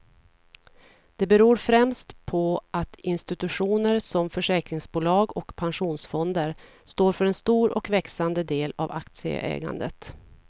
Det beror främst på att institutioner som försäkringsbolag och pensionsfonder står för en stor och växande del av aktieägandet.